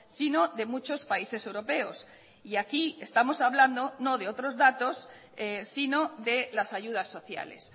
sino de muchos países europeos y aquí estamos hablando no de otros datos sino de las ayudas sociales